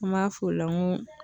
An b'a f'o la n ko